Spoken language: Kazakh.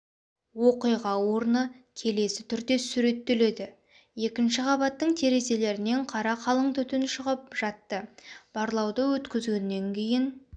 оқиға орны келесі түрде сүреттелді екінші қабаттың терезелерінен қара қалың түтін шығып жатты барлауды өткізгеннен кейін